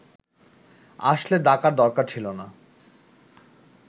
আসলে ডাকার দরকার ছিল না